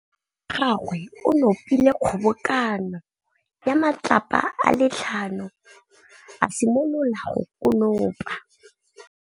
Morwa wa gagwe o nopile kgobokanô ya matlapa a le tlhano, a simolola go konopa.